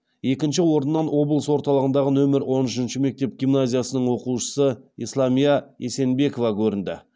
екінші орыннан облыс орталығындағы нөмір он үшінші мектеп гимназиясының оқушысы исламия есенбекова көрінді